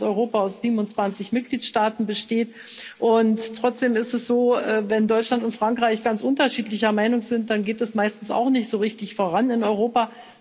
Wir wissen, dass Europa aus 27 Mitgliedstaaten besteht, und trotzdem ist es so Wenn Deutschland und Frankreich ganz unterschiedlicher Meinung sind, dann geht es meistens auch nicht so richtig voran in Europa.